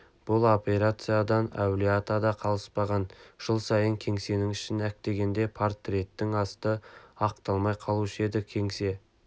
бұл операциядан әулие-ата да қалыспаған жыл сайын кеңсенің ішін әктегенде портреттің асты ақталмай қалушы еді кеңсе